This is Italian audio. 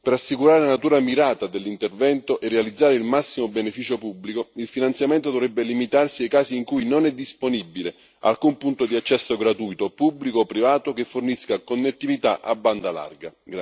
Per assicurare la natura mirata dell'intervento e realizzare il massimo beneficio pubblico, il finanziamento dovrebbe limitarsi ai casi in cui non è disponibile alcun punto di accesso gratuito, pubblico o privato, che fornisca connettività a banda larga.